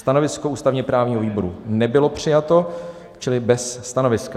Stanovisko ústavně-právního výboru nebylo přijato čili bez stanoviska.